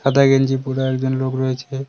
সাদা গেঞ্জি পরা একজন লোক রয়েছে।